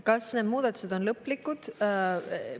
Kas need muudatused on lõplikud?